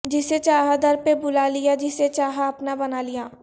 جسے چاہا در پہ بلا لیا جسے چاہا اپنا بنا لیا